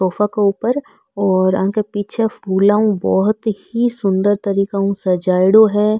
सोफा के ऊपर और आके पीछे फूला हु बहुत ही सुन्दर तरीके हु सजायडो है।